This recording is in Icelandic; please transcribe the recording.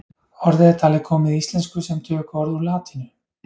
Orðið er talið komið í íslensku sem tökuorð úr latínu.